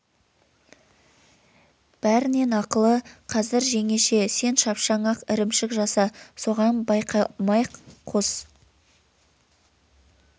бәрінен ақылы қазір жеңеше сен шапшаң ақ ірімшік жаса соған балқаймақ қос